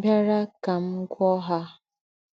bìarà kà m gwúọ̀ọ́ ha.